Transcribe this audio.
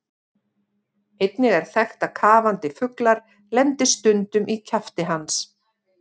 Einnig er þekkt að kafandi fuglar lendi stundum í kjafti hans.